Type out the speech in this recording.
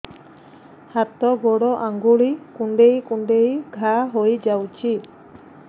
ହାତ ଗୋଡ଼ ଆଂଗୁଳି କୁଂଡେଇ କୁଂଡେଇ ଘାଆ ହୋଇଯାଉଛି